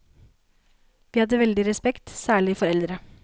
Vi hadde veldig respekt, særlig for eldre.